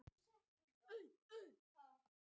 Vegurinn horfinn á kafla